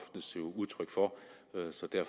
aftes jo